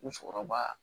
U sɔrɔba